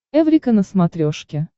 эврика на смотрешке